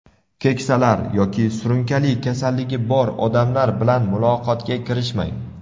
keksalar yoki surunkali kasalligi bor odamlar bilan muloqotga kirishmang.